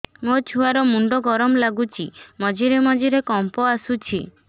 ମୋ ଛୁଆ ର ମୁଣ୍ଡ ଗରମ ଲାଗୁଚି ମଝିରେ ମଝିରେ କମ୍ପ ଆସୁଛି